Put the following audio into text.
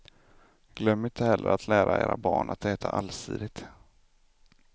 Glöm inte heller att lära era barn att äta allsidigt.